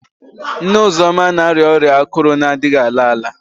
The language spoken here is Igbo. Nne Uzoma na-arịa ọrịa akụrụ na-adịghị ala ala